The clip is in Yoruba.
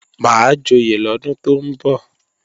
Máa joyè lọ́dún tó ń bọ̀